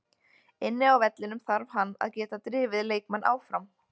Inni á vellinum þarf hann að geta drifið leikmenn áfram.